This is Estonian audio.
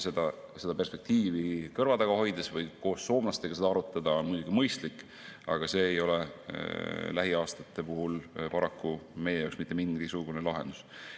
Seda perspektiivi kõrva taga hoida või koos soomlastega arutada on muidugi mõistlik, aga see ei ole lähiaastate puhul paraku meie jaoks mitte mingisugune lahendus.